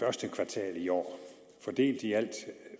første kvartal i år fordelt i alt